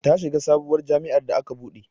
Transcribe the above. Ta shiga sabuwar jam'iyar da aka buɗe